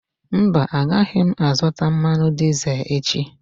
Mba, agaghị m azụta mmanụ dizel echi.